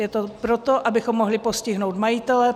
Je to proto, abychom mohli postihnout majitele.